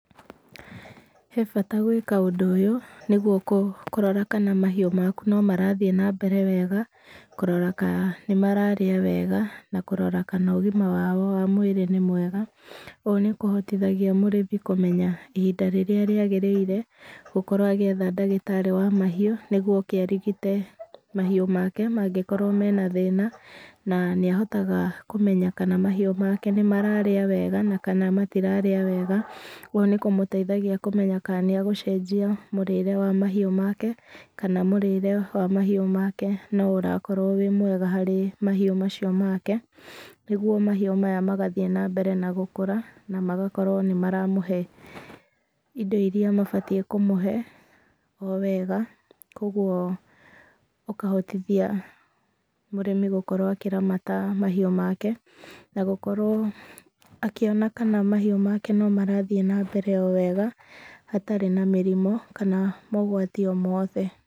He bata gwĩka ũndũ ũyũ nĩgũo kũrora kana mahiũ maku nomarathĩe na mbere wega, kũrora kana nĩmararĩa wega na kũrora kana ũgĩma wao wa mũĩrĩ nĩ mwega. Ũũ nĩ kũhotithagia mũrĩmi kũmenya ihinda rĩrĩa rĩagĩrĩire gũkorwo agĩetha ndagĩtarĩ wa mahĩu nĩgũo oke arigite mahiũ make mangĩkorwo me na thĩna, na nĩ ahotaga kũmenya kana mahiũ make nĩmararĩa wega na kana matirarĩa wega. Ũũ nĩ kũmũteithagia kũmenya kana nĩagũcenjia mũrĩre wa mahiũ make kana mũrĩre wa mahiũ make nĩ ũrakorwo wĩ mwega harĩ mahĩu macio nĩgũo mahiũ maya magathĩe na mbere na gũkũra na magakorwo nĩ maramũhe indo iria mabatĩe kũmũhe o wega kwa ũguo ũkahotithia mũrĩmi gũkorwo akĩramata mahiũ make, na gũkorwo akĩona kana mahiũ make no marathĩe na mbere o wega hatarĩ na mĩrimũ kana mogwati o mothe.